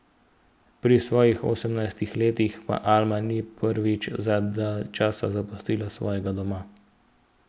Pri svojih osemnajstih letih pa Alma ni prvič za dalj časa zapustila svojega doma.